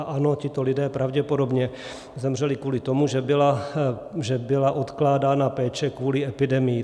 A ano, tito lidé pravděpodobně zemřeli kvůli tomu, že byla odkládána péče kvůli epidemii.